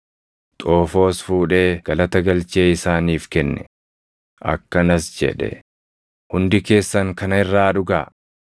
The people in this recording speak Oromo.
Xoofoos fuudhee galata galchee isaaniif kenne; akkanas jedhe; “Hundi keessan kana irraa dhugaa.